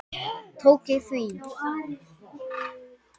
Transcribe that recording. Tók ég því?